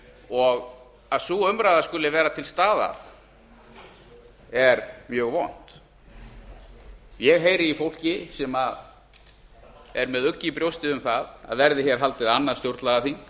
og að sú umræða skuli vera til staðar er mjög vond ég heyri í fólki sem er með ugg í brjósti um það að verði hér haldið annað stjórnlagaþing